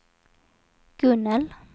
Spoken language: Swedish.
Gunnel